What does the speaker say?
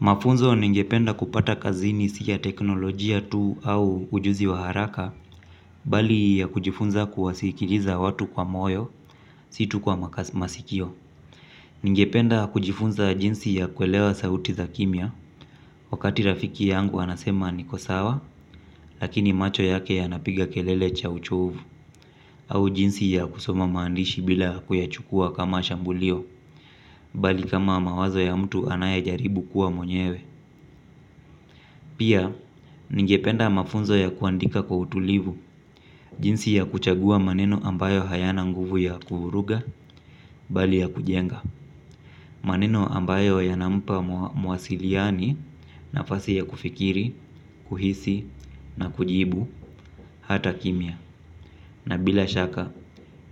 Mafunzo ningependa kupata kazini si ya teknolojia tuu au ujuzi wa haraka, bali ya kujifunza kuwasikiliza watu kwa moyo, si tu kwa masikio. Ningependa kujifunza jinsi ya kuelewa sauti za kimya, wakati rafiki yangu anasema niko sawa, lakini macho yake yanapiga kelele cha uchovu, au jinsi ya kusoma maandishi bila kuyachukua kama shambulio, bali kama mawazo ya mtu anayejaribu kuwa mwenyewe. Pia, ningependa mafunzo ya kuandika kwa utulivu, jinsi ya kuchagua maneno ambayo hayana nguvu ya kuvuruga bali ya kujenga maneno ambayo yanampa mwasiliani nafasi ya kufikiri, kuhisi na kujibu hata kimya. Na bila shaka,